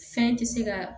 Fɛn tɛ se ka